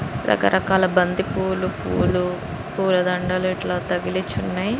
రకరకాల బంతి పువ్వులు పూల దండలు తగిలిచ్చి ఉన్నాయి. >]